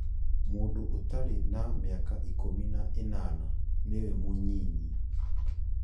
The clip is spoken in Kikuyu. Mũndũ ũtarĩ na mĩaka ikũmi na ĩnana nĩ we mũnyinyi